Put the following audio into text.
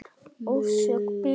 Orsök bilunar?